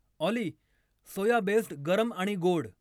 ऑली soya based गरम आणि गोड